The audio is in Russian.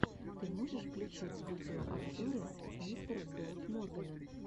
ты можешь включить видеообзоры мистера болд моргана